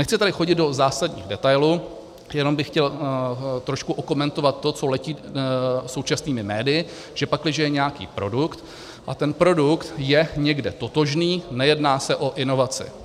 Nechci tady chodit do zásadních detailů, jenom bych chtěl trošku okomentovat to, co letí současnými médii, že pakliže je nějaký produkt, a ten produkt je někde totožný, nejedná se o inovace.